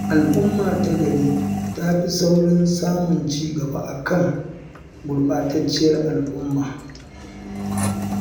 Al'umma ta gari tafi saurin samun cigaba akan gurɓatacciyar al'umma.